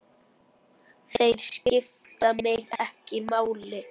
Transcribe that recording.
Þeir skipta mig ekki máli.